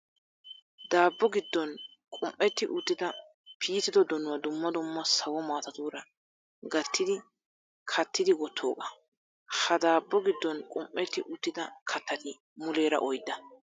Daabbo giddon qum'etti uttida piitido donuwaa dumma dumma sawo maatatuura gattidi kattidi wottoogaa. Ha daabbo giddon qum'etti uttida kattati muleera oyidda.